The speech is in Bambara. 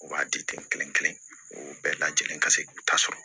U b'a di ten kelen kelen u bɛɛ lajɛlen ka se k'u ta sɔrɔ